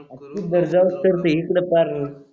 तू बसतर